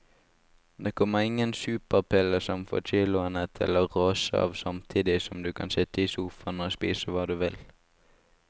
Det kommer ingen superpille som får kiloene til å rase av samtidig som du kan sitte i sofaen og spise hva du vil.